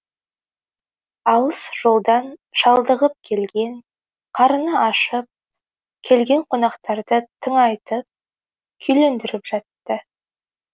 алыс жолдан шалдығып келген қарыны ашып келген қонақтарды тыңайтып күйлендіріп жатты